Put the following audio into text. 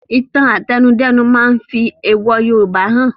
Ìtàn àtẹnudẹ́nu máa fi èèwò Yorùbá han